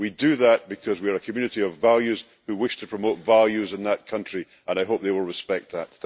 We do that because we are a community of values who wish to promote values in that country, and I hope they will respect that.